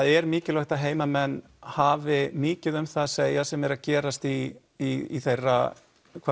er mikilvægt að heimamenn hafi mikið um það að segja sem er að gerast í í þeirra